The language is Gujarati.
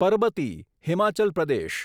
પરબતી હિમાચલ પ્રદેશ